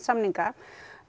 samninga